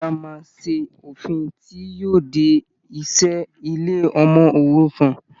Ìjọba máa ṣe òfin tí yóò de e ìṣe ilé ọmọ òrukàn.